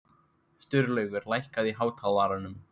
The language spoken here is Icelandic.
Sturlaugur, lækkaðu í hátalaranum.